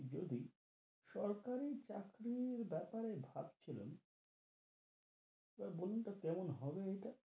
যদি সরকারি চাকরির বেপারে ভাবছিলাম, তো বলুন তো কেমন হবে ইটা?